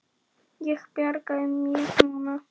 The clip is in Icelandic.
Ég bjarga þér núna.